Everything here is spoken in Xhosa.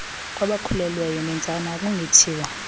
kwabakhulelweyo neentsana akungethiwa